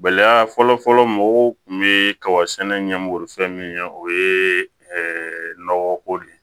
Bɛlɛ fɔlɔ-fɔlɔ mɔgɔw tun bɛ kaba sɛnɛ ɲɛmurufɛn min ɲɛ o ye nɔgɔ ko de ye